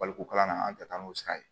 Baliku kalan na an tɛ taa n'o sira ye